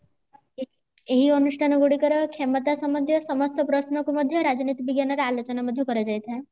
ଏଇ ଅନୁଷ୍ଠାନ ଗୁଡିକର କ୍ଷମତା ସମ୍ବନ୍ଦୀୟ ସମସ୍ତ ପ୍ରଶ୍ନକୁ ମଧ୍ୟ ରାଜନୀତି ବିଜ୍ଞାନରେ ଆଲୋଚନା ମଧ୍ୟ କରାଯାଇଥାଏ